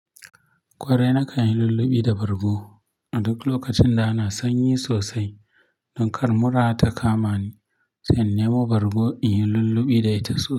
Kwarai na kan yi lullubi da bargo a duk lokacin da ana sanyi sosai. Don kar mura ta kama ni, sai in nemo bargo in yi lullubi da ita sosai.